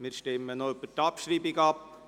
Wir stimmen noch über die Abschreibung ab.